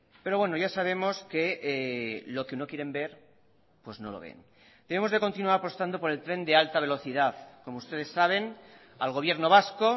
pero bueno ya sabemos que lo que no quieren ver pues no lo ven tenemos que continuar apostando por el tren de alta velocidad como ustedes saben al gobierno vasco